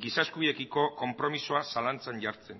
giza eskubideekiko konpromisoa zalantzan jartzen